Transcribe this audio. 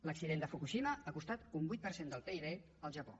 l’accident de fukushima ha costat un vuit per cent del pib al japó